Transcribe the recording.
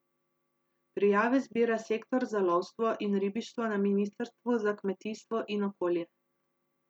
Prijave zbira Sektor za lovstvo in ribištvo na ministrstvu za kmetijstvo in okolje.